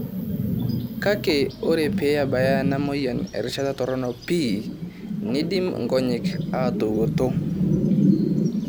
Kake ore pee ebaya ena moyian erishata toronok pii, neidim nkonyek aatawoto.